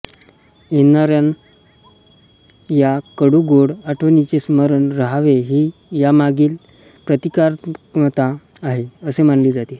येणाऱ्याया कडू गोड आठवणींचे स्मरण रहावे ही यामागील प्रतिकात्मकता आहे असे मानले जाते